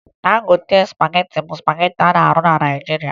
Dangote spagetị bụ spagetị a na-arụ na Naịjirịa